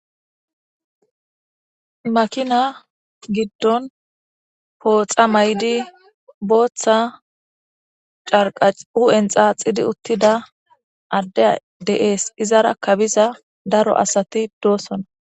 makina giddon pooxa may7di booththa carqac u7en xaaxidi uttida addey de7ees izara kabiza daro asati doosona